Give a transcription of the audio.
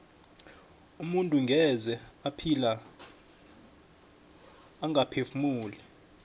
umuntu ngeze ephila angaphefumuli